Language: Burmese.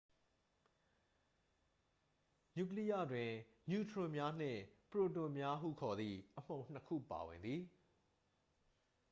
နျူကလိယတွင် နျူထရွန်များနှင့် ပရိုတွန်များဟုခေါ်သည့် အမှုန်နှစ်ခုပါဝင်သည်